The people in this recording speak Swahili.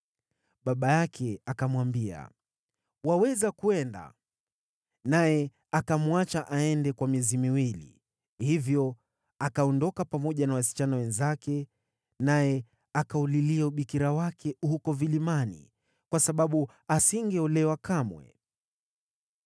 Baba yake akamwambia, “Waweza kwenda.” Naye akamwacha aende kwa miezi miwili. Hivyo akaondoka pamoja na wasichana wenzake, naye akaulilia ubikira wake huko vilimani kwa sababu asingeolewa kamwe.